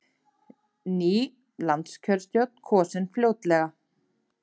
Ný landskjörstjórn kosin fljótlega